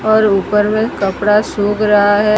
और ऊपर में कपड़ा सूख रहा है।